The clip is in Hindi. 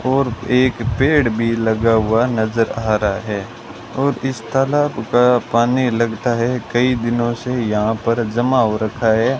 और एक पेड़ भी लगा हुआ नजर आ रहा है और इस तालाब का पानी लगता है कई दिनों से यहां पर जमा हो रखा है।